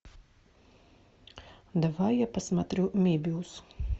давай я посмотрю мебиус